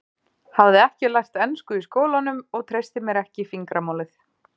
Hafði ekki lært ensku í skólanum og treysti mér ekki í fingramálið.